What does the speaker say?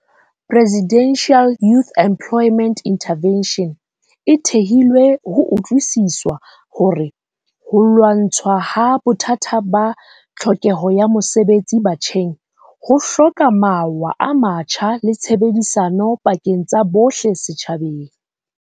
Presidential Youth Employment Intervention, e thehilwe ho utlwisiswa hore ho lwa ntshwaha bothata ba tlhokeho ya mosebetsi batjheng. Ho hloka mawa a matjha le tshebedisano pakeng tsa bohle setjhabeng.